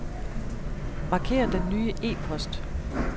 Marker den nye e-post.